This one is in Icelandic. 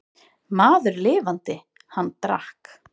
Maður lifandi, hann drakk.